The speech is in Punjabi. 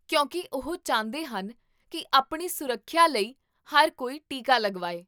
ਕਿਉਂਕਿ ਉਹ ਚਾਹੁੰਦੇ ਹਨ ਕੀ ਆਪਣੀ ਸੁਰੱਖਿਆ ਲਈ ਹਰ ਕੋਈ ਟੀਕਾ ਲਗਵਾਏ